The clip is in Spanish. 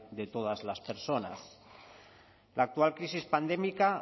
de todas las personas la actual crisis pandémica